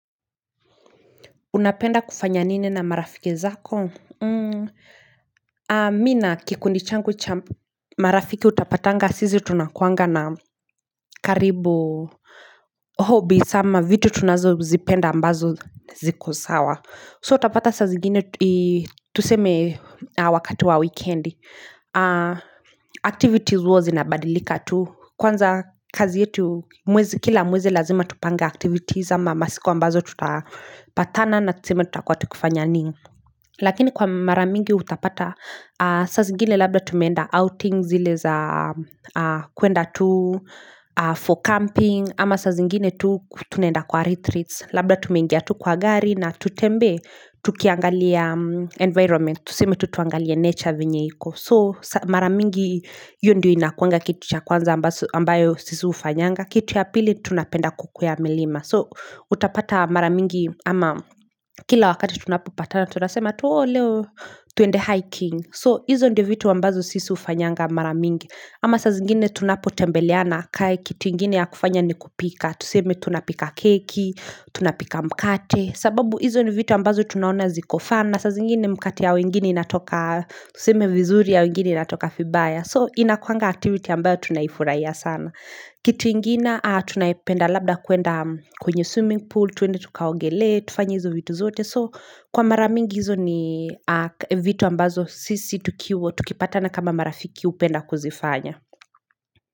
Unapenda kufanya nini na marafiki zako? Mi na kikundi changu cha marafiki utapatanga sizi tunakuanga na karibu hobbies ama vitu tunazo zipenda ambazo ziko sawa. So utapata sa zingine tuseme wakati wa wikendi activities huwa zinabadilika tu. Kwanza kazi yetu kila mwezi lazima tupanga activities ama masiku ambazo tutapatana na tuseme tutakuwa tukifanya nini. Lakini kwa mara mingi utapata saa zingine labda tumeenda outings zile za kuenda tu for camping ama sa zingine tu tunaenda kwa retreats. Labda tumengia tu kwa gari na tutembee tukiangalia environment Tuseme tu tuangalie nature venye iko So mara mingi iyo ndio inakuanga kitu cha kwanza ambayo sisi ufanyanga Kitu ya pili tunapenda kukwea milima So utapata mara mingi ama kila wakati tunapopatana tunasema tu leo tuende hiking So izo ndio vitu ambazo sisi ufanyanga mara mingi ama saa zingine tunapotembeleana kae kitu ingine ya kufanya ni kupika Tuseme tunapika keki, tunapika mkate sababu hizo ni vitu ambazo tunaona zikofana saa zingine mkate ya wengine inatoka tuseme vizuri ya wengine inatoka fibaya So inakuanga activity ambayo tunaifuraia sana Kitu ingina tunapenda labda kuenda kwenye swimming pool tuende tukaongelee, tufanya hizo vitu zote So kwa mara mingi izo ni vitu ambazo sisi tukiwo tukipatana kama marafiki upenda kuzifanya.